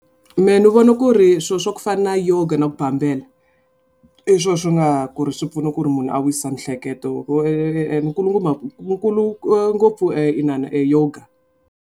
Mehe ni vona ku ri swilo swa ku fana na yoga na ku bambela i swona swi nga ku ri swi pfuna ku ri munhu a wisisa miehleketo ku nkulukumba nkulu ngopfu e inana e yoga.